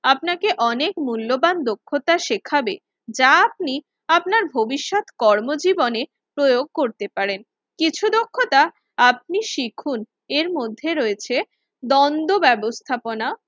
আপনাকে অনেক মূল্যবান দক্ষতা শেখাবে। যা আপনি আপনার ভবিষ্যৎ কর্মজীবনে প্রয়োগ করতে পারন এবং কিছু দক্ষতা আপনি শিখুন এর মধ্যে রয়েছে দ্বন্দ্ব ব্যবস্থাপনা,